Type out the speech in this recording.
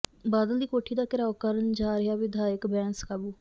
ਬਾਦਲ ਦੀ ਕੋਠੀ ਦਾ ਘਿਰਾਓ ਕਰਨ ਜਾ ਰਿਹਾ ਵਿਧਾਇਕ ਬੈਂਸ ਕਾਬੂ